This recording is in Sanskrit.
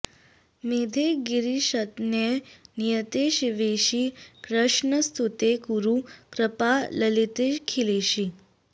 मेधे गिरीशतनये नियते शिवेशि कृष्णस्तुते कुरु कृपां ललितेऽखिलेशि